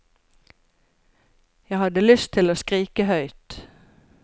Jeg hadde lyst til å skrike høyt.